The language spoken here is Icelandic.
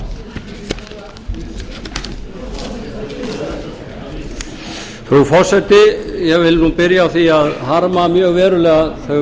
frú forseti ég vil nú byrja á því að harma mjög verulega þau